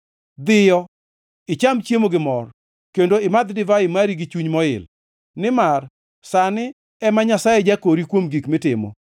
Dhiyo, icham chiemo gi mor, kendo imadh divai mari gi chuny moil, nimar sani ema Nyasaye jakori kuom gik mitimo.